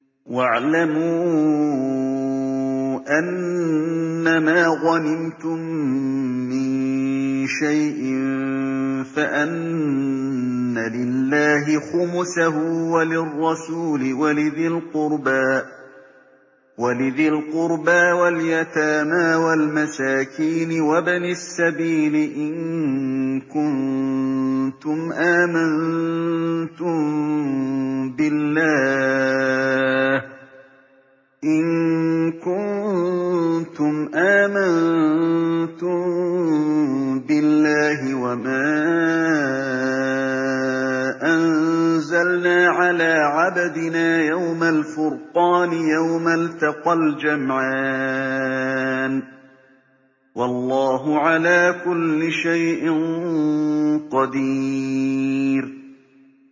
۞ وَاعْلَمُوا أَنَّمَا غَنِمْتُم مِّن شَيْءٍ فَأَنَّ لِلَّهِ خُمُسَهُ وَلِلرَّسُولِ وَلِذِي الْقُرْبَىٰ وَالْيَتَامَىٰ وَالْمَسَاكِينِ وَابْنِ السَّبِيلِ إِن كُنتُمْ آمَنتُم بِاللَّهِ وَمَا أَنزَلْنَا عَلَىٰ عَبْدِنَا يَوْمَ الْفُرْقَانِ يَوْمَ الْتَقَى الْجَمْعَانِ ۗ وَاللَّهُ عَلَىٰ كُلِّ شَيْءٍ قَدِيرٌ